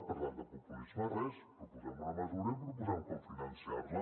per tant de populisme res proposem una mesura i proposem com finançar la